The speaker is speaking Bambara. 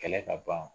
Kɛlɛ ka ban